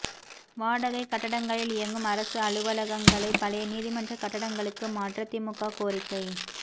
வாடகைக் கட்டடங்களில் இயங்கும் அரசு அலுவலகங்களை பழைய நீதிமன்ற கட்டடங்களுக்கு மாற்ற திமுக கோரிக்கை